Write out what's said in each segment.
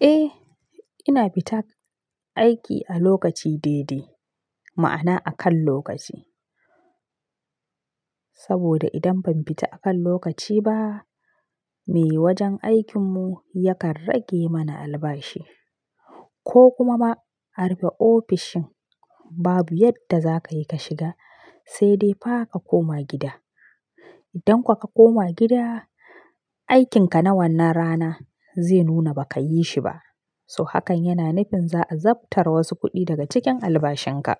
Eh, ina fita aiki a lokaci daidai, ma'ana a kan lokaci. Saboda idan ban fita a kan lokaci ba, me wajen aikinmu yakan rage mana albashi ko kuma ma arufe ofishin babu yadda za ka yi ka shiga sai dai fa ka koma gida. Idan kuwa ka koma gida, aikinka na wannan rana zai nuna ba ka yi shi ba. So hakan yana nufin za a zabtare wasu kuɗi daga cikin albashinka.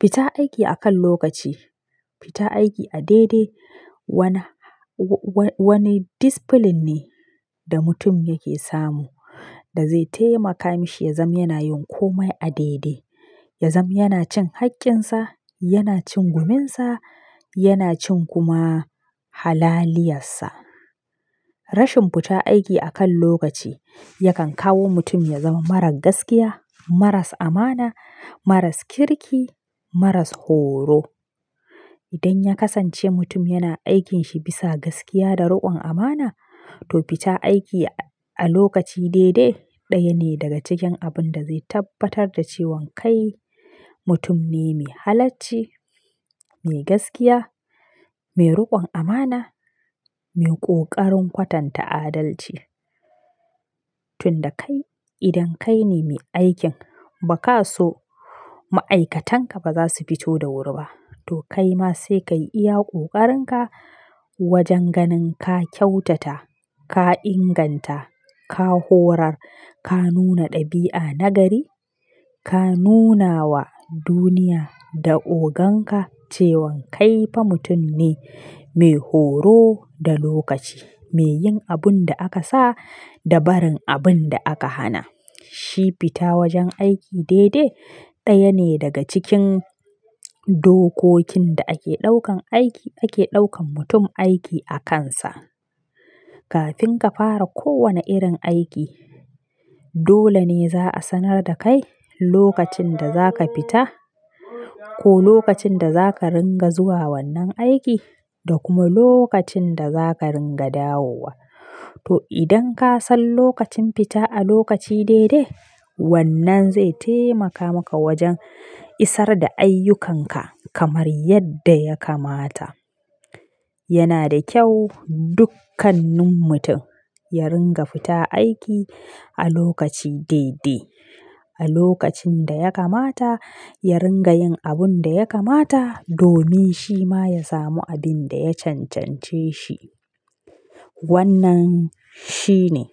Fita aiki akan lokaci, fita aiki a daidai wani discipline ne da mutum yake samu da zai taimaka mashi ya zam yana yin komai a daidai. Ya zam yana cin haƙƙinsa, yana cin guminsa, yana cin kuma halaliyarsa. Rashin fita aiki akan lokaci yakan kawo mutum ya zama marar gaskiya, maras amana, maras kirki, maras horo. Idan ya kasance mutum yana aikinshi bisa gaskiya da riƙon amana, to fita aiki a lokaci daidai ɗaya ne daga cikin abun da zai tabbatar da cewan kai mutum ne mai halacci, mai gaskiya, mai riƙon amana, mai ƙoƙarin kwatanta adalci. Tun da kai, idan kai ne mai aikin ba ka so ma'aikatanka ba za su fito da wuri ba, to kai ma sai ka yi iya ƙoƙarinka wajen ganin ka kyautata, ka inganta, ka horar, ka nuna ɗabi'a nagari, ka nuna wa duniya da oganka cewan kai fa mutum ne mai horo da lokaci, me yin abun da aka sa da barin abun da aka hana. Shi fita wajen aiki daidai ɗaya ne daga cikin dokokin da ake ɗaukan aiki, ake ɗaukan mutum aiki a kansa. Kafin ka fara kowane irin aiki, dole ne za a sanar da kai lokacin da za ka fita ko lokacin da za ka ringa zuwa wannan aiki da kuma lokacin da za ka ringa dawowa. To idan ka san lokacin fita a lokaci daidai, wannan zai taimaka maka wajen isar da ayyukanka kamar yadda ya kamata. Yana da kyau dukkanin mutum ya ringa fita aiki a lokaci daidai. A lokacin da ya kamata, ya ringa yin abun da ya kamata domin shi ma ya samu abin da ya cancance shi. Wannan shine.